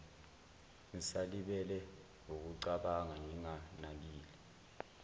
ngisalibele wukucabanga nginganakile